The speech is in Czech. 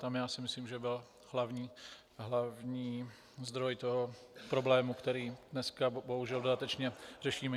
Tam já si myslím, že byl hlavní zdroj toho problému, který dneska bohužel dodatečně řešíme.